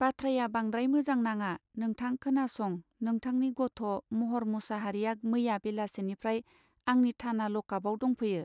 बाथ्राया बांद्राय मोजां नाङा नोंथां खोनासं नोंथांनि गथः महर मुसाहारिया मैया बेलासिनिफ्राय आंनि थाना लकआपआव दंफैयो.